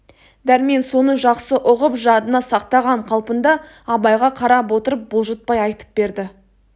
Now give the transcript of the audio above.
дәрмен соны жақсы ұғып жадына сақтаған қалпында абайға қарап отырып бұлжытпай айтып берді